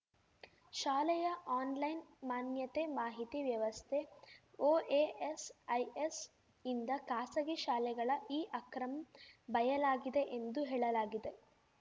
ಶಾಲೆಯ ಆನ್‌ಲೈನ್‌ ಮಾನ್ಯತೆ ಮಾಹಿತಿ ವ್ಯವಸ್ಥೆಒಎಎಸ್‌ಐಎಸ್‌ಯಿಂದ ಖಾಸಗಿ ಶಾಲೆಗಳ ಈ ಅಕ್ರಮ್ ಬಯಲಾಗಿದೆ ಎಂದು ಹೇಳಲಾಗಿದೆ